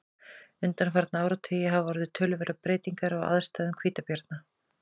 undanfarna áratugi hafa orðið töluverðar breytingar á aðstæðum hvítabjarna